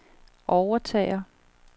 overtager